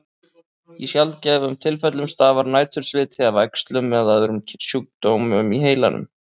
Í sjaldgæfum tilfellum stafar nætursviti af æxlum eða öðrum sjúkdómum í heilanum.